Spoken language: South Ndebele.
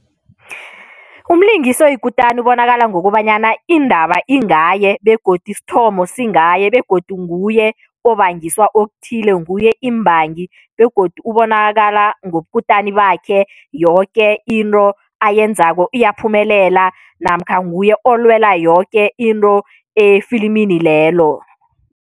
Umlingisi oyikutani ubonakala ngokobanyana indaba ingaye begodu isithomo singaye begodu nguye obangiswa okuthile, nguye imbangi begodu ubonakala ngobukutani bakhe. Yoke into ayenzako iyaphumelela namkha nguye olwela yoke into efilimini lelo.